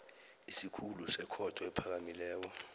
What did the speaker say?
isikhulu sekhotho ephakemeko